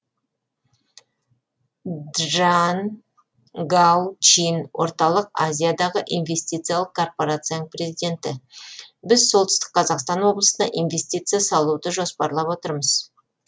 джан гау чин орталық азиядағы инвестициялық корпорацияның президенті біз солтүстік қазақстан облысына инвестиция салуды жоспарлап отырмыз